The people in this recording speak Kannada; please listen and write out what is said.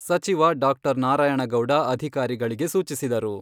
ಸಚಿವ ಡಾ. ನಾರಾಯಣಗೌಡ ಅಧಿಕಾರಿಗಳಿಗೆ ಸೂಚಿಸಿದರು.